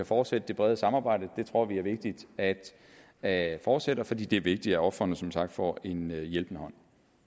fortsætte det brede samarbejde det tror vi er vigtigt at at fortsætte fordi det er vigtigt at ofrene som sagt får en hjælpende hånd